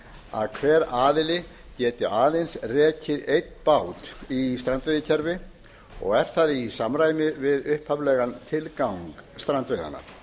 að hver aðili geti aðeins rekið einn bát í strandveiðikerfi og er það í samræmi við upphaflegan tilgang strandveiðanna